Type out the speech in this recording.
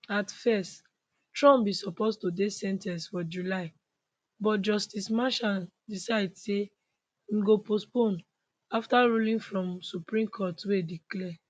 at first trump bin supposed to dey sen ten ced for july but justice merchan decide say im go postpone afta ruling from supreme court wey declare